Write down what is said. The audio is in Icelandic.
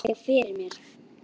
Ég sé þig fyrir mér.